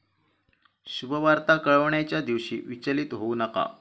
शुभवार्ता कळविण्याच्या दिवशी विचलित होऊ नका